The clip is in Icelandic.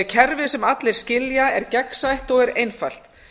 kerfi sem allir skilja er gegnsætt og er einfalt